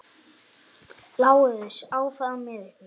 LÁRUS: Áfram með ykkur!